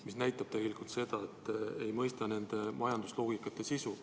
See näitab seda, et te ei mõista majandusloogika sisu.